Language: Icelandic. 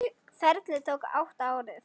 Ferlið tók átta ár.